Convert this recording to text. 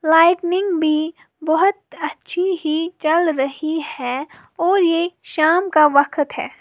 Lightning भी बहुत अच्छी ही जल रही है और ये शाम का बखत है।